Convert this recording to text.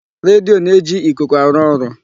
Redio na-eji ikuku arụ ọrụ.